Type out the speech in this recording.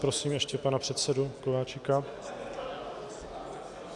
Prosím ještě pana předsedu Kováčika.